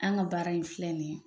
An ka baara in filɛ nin ye